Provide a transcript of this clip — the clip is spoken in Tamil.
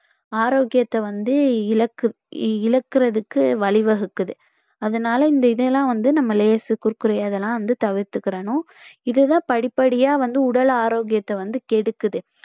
ஆரோக்கியத்தை வந்து இழக்கு~ இழக்கறதுக்கு வழிவகுக்குது அதனால இந்த இதையெல்லாம் வந்து நம்ம லேஸ், குர்குரே இதெல்லாம் வந்து தவிர்த்துக்கிறணும் இதுதான் படிப்படியா வந்து உடல் ஆரோக்கியத்தை வந்து கெடுக்குது